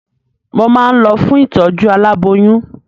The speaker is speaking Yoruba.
Mo máa ń lọ fún ìtọ̀jú alábóyún.